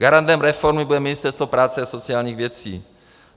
Garantem reformy bude Ministerstvo práce a sociálních věcí.